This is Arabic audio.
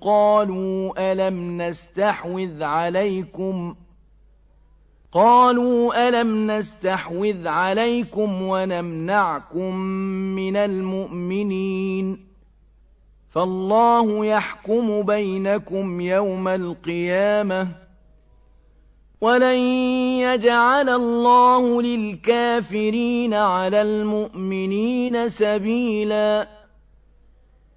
قَالُوا أَلَمْ نَسْتَحْوِذْ عَلَيْكُمْ وَنَمْنَعْكُم مِّنَ الْمُؤْمِنِينَ ۚ فَاللَّهُ يَحْكُمُ بَيْنَكُمْ يَوْمَ الْقِيَامَةِ ۗ وَلَن يَجْعَلَ اللَّهُ لِلْكَافِرِينَ عَلَى الْمُؤْمِنِينَ سَبِيلًا